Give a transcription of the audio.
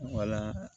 Wala